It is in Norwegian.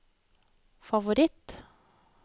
favoritt